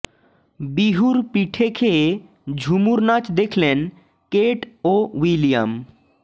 বিহুর পিঠে খেয়ে ঝুমুর নাচ দেখলেন কেট ও উইলিয়াম